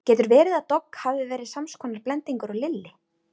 Getur verið að Dogg hafi verið sams konar blendingur og Lilli?